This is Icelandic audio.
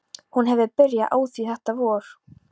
Hún hefur byrjað á því þetta vor.